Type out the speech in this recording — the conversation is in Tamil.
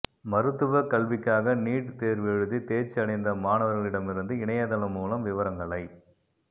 மருத்துவக் கல்விக்காக நீட் தேர்வெழுதி தேர்ச்சி அடைந்த மாணவர்களிடமிருந்து இணையதளம் மூலம் விவரங்களைப்